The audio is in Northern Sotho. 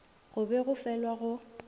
go be go felwa go